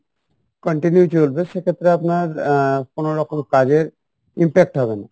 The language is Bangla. continue চলবে সেক্ষেত্রে আপনার আহ কোনো রকম কাজের impact হবে না